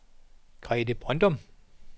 Grete Brøndum